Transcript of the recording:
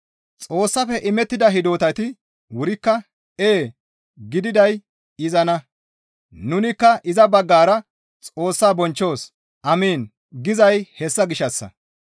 Xoossafe imettida hidotati wurikka, «Ee» gididay izanna; nunikka iza baggara Xoossaa bonchchos, «Amiin» gizay hessa gishshassa.